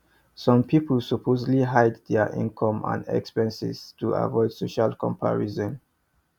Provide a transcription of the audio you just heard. some people purposely hide dia income and expenses to avoid social comparison